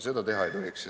Seda teha ei tohiks.